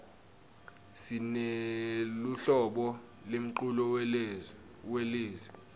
sineluhlobo lemculo welezi